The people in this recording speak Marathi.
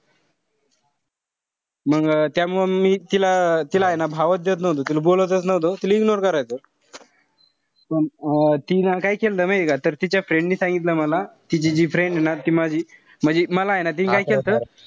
मंग त्यामुळे मी तिला तिलाय ना भावच देत नव्हतो. तिला बोलतच नव्हतो ignore करायचो. अं तिनं काय केलं माहितीये का, तर तिच्या friend नि सांगितलं मला. तिची जी friend ए ना. ती माझी म्हणजे मलाय ना काय केलं होत,